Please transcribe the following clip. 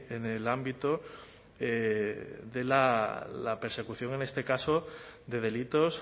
en el ámbito de la persecución en este caso de delitos